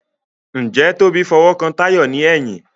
Njé Tobi f'owo kán Tayo ní èyìn?